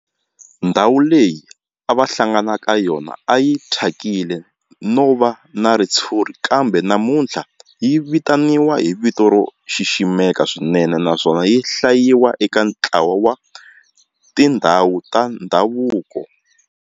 Ndhawu leyi a va hlangana ka yona a yi thyakile no va na ritshuri kambe namuntlha yi vitaniwa hi vito ro xiximeka swinene naswona yi hlayiwa eka ntlawa wa tindhawu ta ndhavuko.